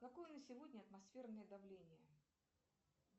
какое на сегодня атмосферное давление